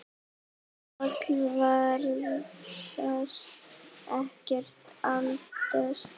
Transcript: Páll virðist ekkert eldast.